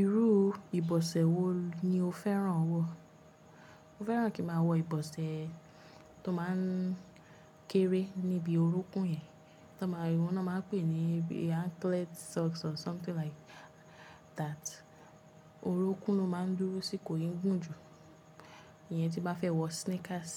Irú ìbọ̀sẹ̀ wo ni o fẹ́ràn wọ̀? Mo fẹ́ràn kí máa wọ ìbọ̀sẹ̀ tó máa ń kéré níbi orúnkún yẹn, tí wọ́n náà máa ń pè ní anklet socks or something like that. Orúnkún ló máa ń dúró síkokò ń gùn jù, ìyẹn tí n bá fẹ́ wọ sneakers.